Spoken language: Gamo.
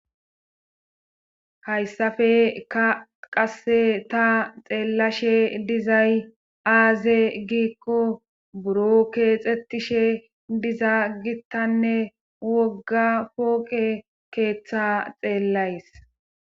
Hayssafe qasse ta xeellashe dizay aaze giikko buro keexetishe diza gittanne wogga pooqe keeththa xeellays.